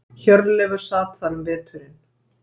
Hjörleifur sat þar um veturinn.